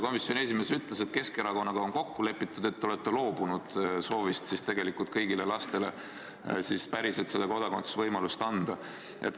Komisjoni esimees ütles, et Keskerakonnaga on kokku lepitud ja te olete loobunud soovist tegelikult kõigile lastele päriselt kodakondsuse võimalust anda.